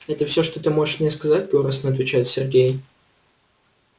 это все что ты можешь мне сказать горестно отвечает сергей